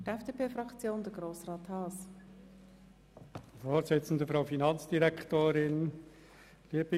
Wenn man die Finanzsituation anschaut, wie sie sich jetzt präsentiert, sieht man Folgendes: